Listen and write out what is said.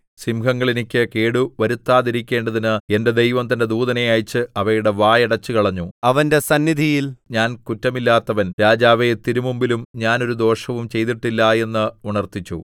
സിംഹങ്ങൾ എനിക്ക് കേടുവരുത്താതിരിക്കേണ്ടതിന് എന്റെ ദൈവം തന്റെ ദൂതനെ അയച്ച് അവയുടെ വായടച്ചുകളഞ്ഞു അവന്റെ സന്നിധിയിൽ ഞാൻ കുറ്റമില്ലാത്തവൻ രാജാവേ തിരുമുമ്പിലും ഞാൻ ഒരു ദോഷവും ചെയ്തിട്ടില്ല എന്ന് ഉണർത്തിച്ചു